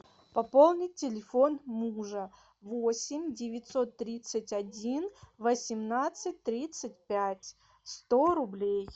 пополнить телефон мужа восемь девятьсот тридцать один восемнадцать тридцать пять сто рублей